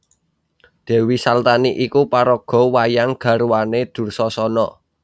Dèwi Saltani iku paraga wayang garwané Dursasana